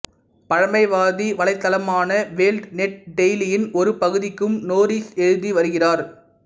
பழமைவாதி வலைத்தளமான world net டெய்லியின் ஒரு பகுதிக்கும் நோரிஸ் எழுதி வருகிறார்